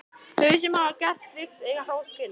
Þau sem hafa gert slíkt eiga hrós skilið.